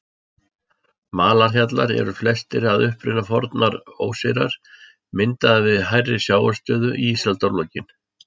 Malarhjallar eru flestir að uppruna fornar óseyrar, myndaðir við hærri sjávarstöðu í ísaldarlokin.